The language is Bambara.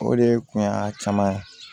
O de kun ye a caman ye